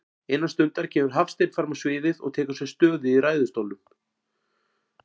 Innan stundar kemur Hafsteinn frammá sviðið og tekur sér stöðu í ræðustólnum.